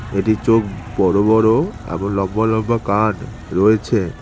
এটির চোখ বড় বড় এবং লম্বা লম্বা কান রয়েছে।